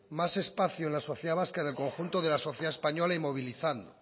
más espacio en la sociedad vasca en el conjunto de la sociedad española y movilizando